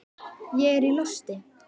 Ég er í losti.